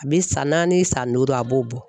A bi san naani san duuru a b'o bɔ